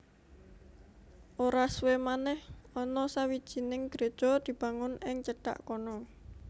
Ora suwé manèh ana sawijining gréja dibangun ing cedhak kono